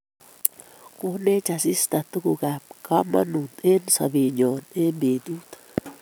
Konech asista tuguk kab kamanut eng sobe nyo eng betut